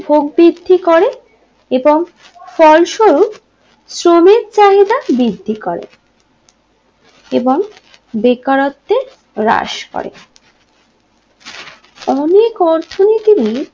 ভোগ বৃদ্ধি করে এবং ফলস্বরূপ শ্রমিক চাহিদা বৃদ্ধি করে এবং বেকারত্বের রাস করে অনেক অর্থনীতি